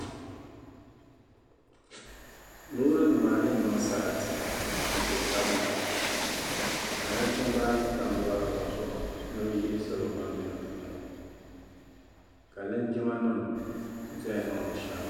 loorinima ayi n-niŋ sarati n-kpe taba ni ka nachimba ayi tam lɔra ŋɔ zuɣu ni bɛ yihi salo ban m-be di puuni ka linjimanima ʒeya niŋdi shaawara